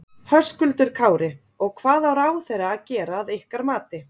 Höskuldur Kári: Og hvað á ráðherra að gera að ykkar mati?